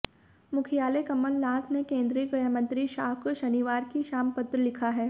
मुख्यमंत्री कमलनाथ ने केंद्रीय गृहमंत्री शाह को शनिवार की शाम पत्र लिखा है